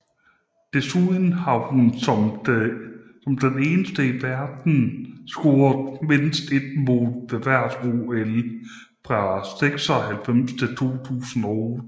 Desuden har hun som den eneste i verden scoret mindst et mål ved hvert OL fra 1996 til 2008